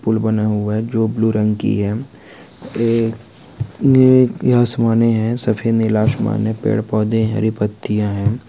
फूल बना हुआ है जो ब्लू रंग की है एक या सामान्य है सफेद नीला आसमान ने पेड़ पौधे हरी पत्तियां हैं।